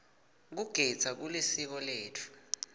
kugidza kulisiko letfu